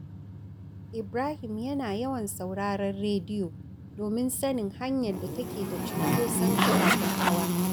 Ibrahim yana yawan sauraron rediyo domin sanin hanyar da take da cunkoson ababen hawa